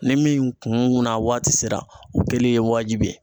Ni min kunna waati sera o kɛlen ye wajibi ye.